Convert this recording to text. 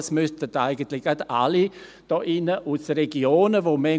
dies müssten sich alle hier drin zu Herzen nehmen.